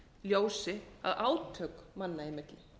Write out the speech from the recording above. ljósi á átak manna einmitt